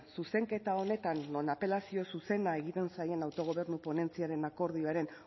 zuzenketa honetan non apelazio zuzena egiten zaien autogobernu ponentziaren akordioaren